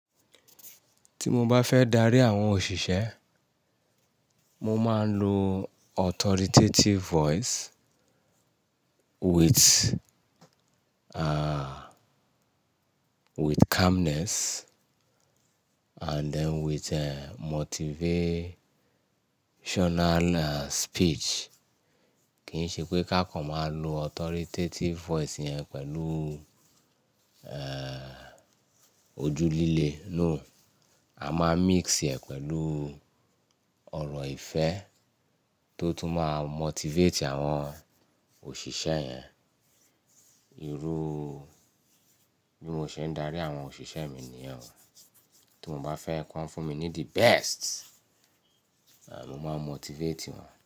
Tí mo bá fẹ́ darí àwọn òṣìṣẹ́, mo máa ń lo authoritative voice with, ah, with calmness and then with, eh, motivational, eh, speech. Kì ń ṣe pé ká kàn máa lo authoritative voice yẹn pẹ̀lú, eh, ojú líle, no. A máa mix ẹ̀ pẹ̀lú ọ̀rọ̀ ìfẹ́ tó tún máa motivate àwọn òṣìṣẹ́ yẹn. Irú bí mo ṣe ń darí àwọn òṣìṣẹ́ mi nì yẹn. Tí mo bá fẹ́ kí wọ́n fún mi ní the best, mo máa motivate wọn.